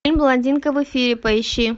фильм блондинка в эфире поищи